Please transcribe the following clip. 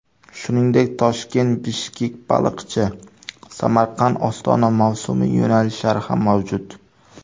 Shuningdek, ToshkentBishkekBaliqchi, SamarqandOstona mavsumiy yo‘nalishlari ham mavjud.